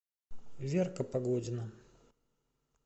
верка погодина